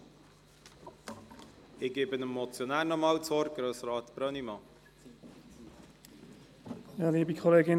Ich gebe dem Motionär nochmals das Wort: Grossrat Brönnimann.